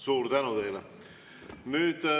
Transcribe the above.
Suur tänu teile!